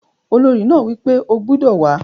Olórí náà wí pé "o gbodò wàá!"